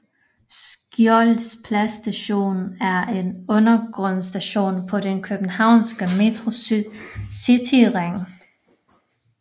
Skjolds Plads Station er en undergrundsstation på den københavnske Metros cityring